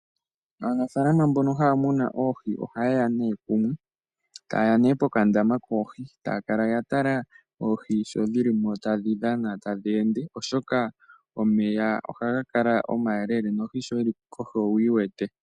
Aanafaalama mbono haya munu oohi ohayeya nee kumwe, tayeya nee pokandama koohi, taya kala ya tala oohi sho dhili mo tadhi dhana tadhi ende, oshoka omeya ohaga kala omayeelele nohi shi yi li kohi owuyi wete.